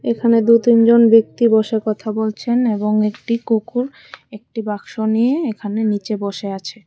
এখানে দু-তিনজন ব্যক্তি বসে কথা বলছেন এবং একটি কুকুর একটি বাক্স নিয়ে এখানে নিচে বসে আছে।